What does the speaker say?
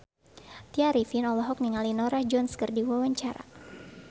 Tya Arifin olohok ningali Norah Jones keur diwawancara